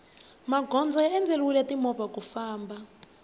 magondzo ya endleriwe mimovha ku famna